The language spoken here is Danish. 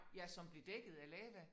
Ja som blev dækket af lava